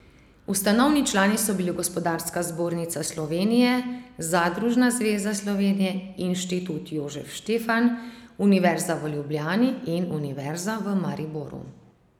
Ustanovni člani so bili Gospodarska zbornica Slovenije, Zadružna zveza Slovenije, Institut Jožef Stefan, Univerza v Ljubljani in Univerza v Mariboru.